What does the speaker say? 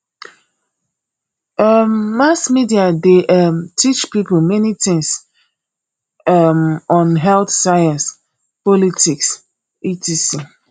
um mass media de um teach pipo many things um on health science politics etc